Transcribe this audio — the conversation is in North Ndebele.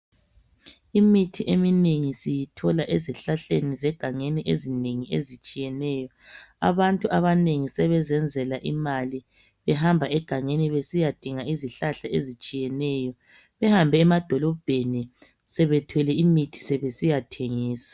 Imithi eminengi siyithola ezihlahleni zegangeni ezinengi ezitshiyeneyo. Abantu abanengi sebezenzela imali behamba egangeni besiyadinga izihlahla ezitshiyeneyo, behambe emadolobheni sebethwele imithi sebesiyathengisa.